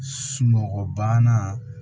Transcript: Sunɔgɔbana